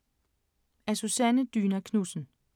Af Susanne Dyna Knudsen